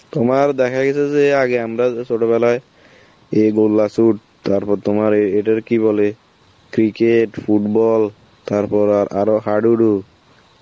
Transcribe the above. তোমার দেখা গেছে যে আগে আমরা ছোটবেলায় এ গোল্লা shoot, তারপর তোমার এ এটারে কি বলে, cricket, football তারপর আর~ আরো হাডুডু